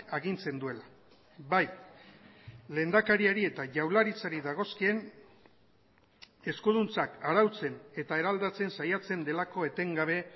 agintzen duela bai lehendakariari eta jaurlaritzari dagozkien eskuduntzak arautzen eta eraldatzen saiatzen delako etengabe